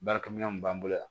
Baarakɛminɛnw b'an bolo yan